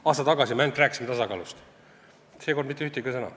Aasta tagasi me ainult tasakaalust rääkisimegi, seekord mitte ühtegi sõna.